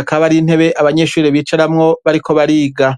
akateye amashurwe maremare, kandi zo ntebe zikaba ziri musi y'igiti hasi hakaba hari utwatsi.